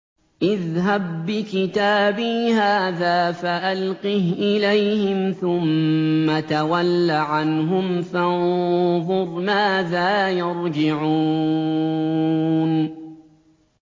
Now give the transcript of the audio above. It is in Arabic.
اذْهَب بِّكِتَابِي هَٰذَا فَأَلْقِهْ إِلَيْهِمْ ثُمَّ تَوَلَّ عَنْهُمْ فَانظُرْ مَاذَا يَرْجِعُونَ